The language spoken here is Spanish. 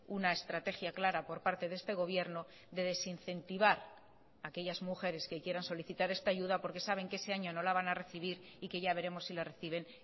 una estrategia clara por parte de este gobierno de desincentivar aquellas mujeres que quieran solicitar esta ayuda porque saben que ese año no la van a recibir y que ya veremos si la reciben